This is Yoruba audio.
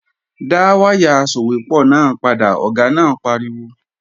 Dá wáyà asòwépọ̀ náà padà, Ọ̀gá náà pariwo!